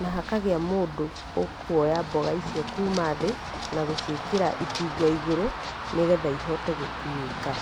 na hakagĩa mũndũ ũkwoya mboga icio kuma thĩ, na gũciĩkĩra itinga igũrũ, nĩgetha ihote gũkuĩka